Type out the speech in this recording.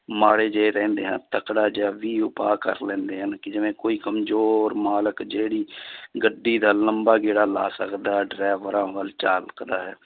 ਮਾੜੇ ਜਿਹੇ ਰਹਿੰਦੇ ਹਨ, ਤਕੜਾ ਜਿਹਾ ਵੀ ਉਪਾਅ ਕਰ ਲੈਂਦੇ ਹਨ, ਕਿ ਜਿਵੇਂ ਕੋਈ ਕੰਮਜ਼ੋਰ ਮਾਲਕ ਜਿਹੜੀ ਗੱਡੀ ਦਾ ਲੰਬਾ ਗੇੜਾ ਲਾ ਸਕਦਾ ਹੈ ਡਰਾਈਵਰਾਂ ਵੱਲ ਝਾਕਦਾ ਹੈ